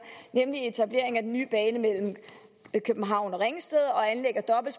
nemlig etableringen af den nye bane mellem københavn og ringsted